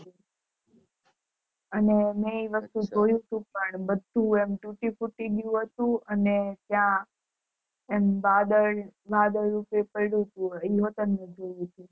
અને મેં એ વસ્તુ જોયું હતું પણ બધું એમ તૂટી ફૂટી ગયું હતું ને અને ત્યાં એમ વાદળ વાદળ પડ્યું તું એ હોતન જોયું તું મેં